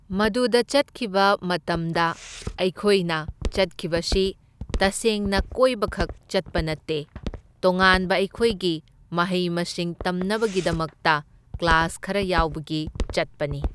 ꯃꯗꯨꯗ ꯆꯠꯈꯤꯕ ꯃꯇꯝꯗ ꯑꯩꯈꯣꯏꯅ ꯆꯠꯈꯤꯕꯁꯤ ꯇꯁꯦꯡꯅ ꯀꯣꯏꯕꯈꯛ ꯆꯠꯄ ꯅꯠꯇꯦ, ꯇꯣꯉꯥꯟꯕ ꯑꯩꯈꯣꯏꯒꯤ ꯃꯍꯩ ꯃꯁꯤꯡ ꯇꯝꯅꯕꯒꯤꯗꯃꯛꯇ ꯀ꯭ꯂꯥꯁ ꯈꯔ ꯌꯥꯎꯕꯒꯤ ꯆꯠꯄꯅꯤ꯫